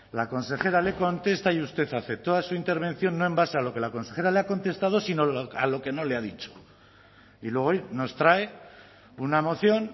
la consejera le contesta y usted hace toda su intervención no en base a lo que la consejera le ha contestado sino a lo que no le ha dicho y luego hoy nos trae una moción